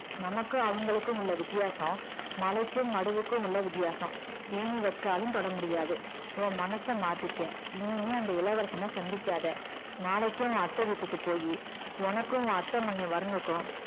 நமக்கும் அவங்களுக்கும் உள்ள வித்தியாசம் மலைக்கும் மடுவுக்கும் உள்ள வித்தியாசம் ஏணி வச்சாலும் தொடமுடியாது உன் மனசை மாத்திக்க இனிமேல் அந்த இளவரசனை சந்திக்காத நாளைக்கே உன் அத்தை வீட்டுக்கு போயி உனக்கும் உன் அத்தை மகன் வருணுக்கும்